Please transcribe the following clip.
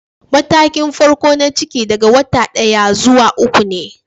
Matakin farko na ciki daga wata daya- uku ne.